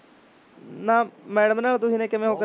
ਨਾ madam ਨਾ ਕਿਵੇਂ ਉਹ